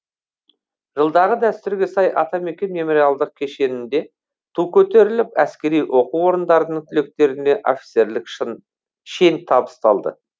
жылдағы дәстүрге сай атамекен мемориалдық кешенінде ту көтеріліп әскери оқу орындарының түлектеріне офицерлік шен табысталды